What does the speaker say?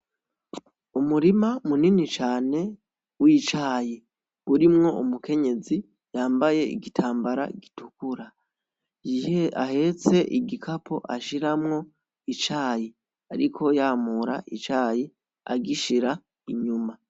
Umurima munini cane w'icayi , urimwo umukenyezi yambaye igitambara gitukura , ahetse igikapo ashiramwo icayi ariko yamura icayi agishira inyuma.